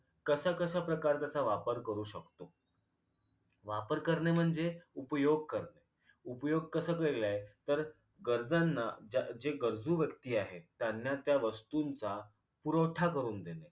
कस कसं प्रकार त्याचा वापर करू शकतो वापर करणे म्हणजे उपयोग करतो उपयोग कसा केलाय तर गरजूना ज जे गरजू व्यक्ती आहेत त्यांना त्या वस्तूंचा पुरवठा करून देणे